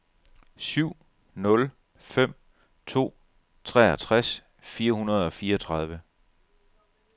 syv nul fem to treogtres fire hundrede og fireogtredive